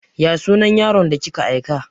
Ya sunan yaron da kika aika?